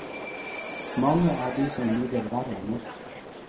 Mange er de som lider verre enn oss.